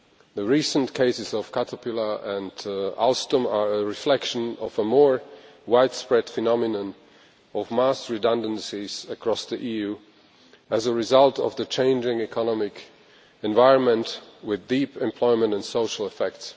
The recent cases of Caterpillar and Alstom are a reflection of a more widespread phenomenon of mass redundancies across the EU as a result of the changing economic environment, with deep employment and social effects.